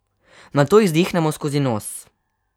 Nato izdihnemo skozi nos.